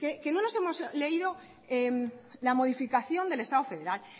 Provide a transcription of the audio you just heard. que no nos hemos leído la modificación del estado federal